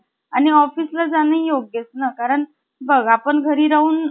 आणि office ला जाण योग्यच ना , बघ आपण घरी राहून,